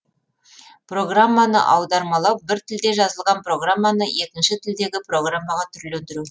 программаны аудармалау бір тілде жазылған программаны екінші тілдегі программаға түрлендіру